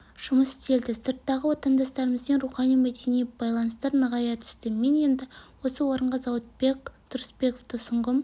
жұмыс істелді сырттағы отандастарымызбен рухани-мәдени байланыстар нығая түсті мен енді осы орынға зауытбек тұрысбековты ұсынғым